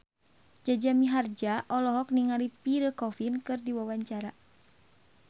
Jaja Mihardja olohok ningali Pierre Coffin keur diwawancara